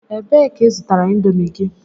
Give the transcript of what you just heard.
Ebee ka i zụtara Indomi gị?